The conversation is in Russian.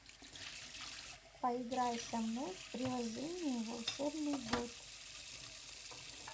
поиграй со мной в приложение волшебный бот